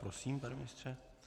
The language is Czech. Prosím, pane ministře.